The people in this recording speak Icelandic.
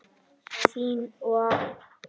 Þín og afa.